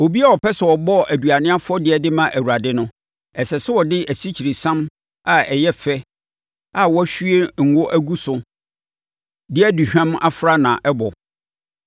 “ ‘Obiara a ɔpɛ sɛ ɔbɔ aduane afɔdeɛ de ma Awurade no, ɛsɛ sɛ ɔde asikyiresiam a ɛyɛ fɛ a wahwie ngo agu so de aduhwam afra na ɛbɔ.